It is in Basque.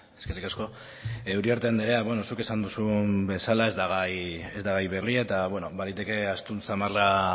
eskerrik asko uriarte anderea zuk esan duzun bezala ez da gai berria eta baliteke astun xamarra